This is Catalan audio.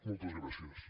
moltes gràcies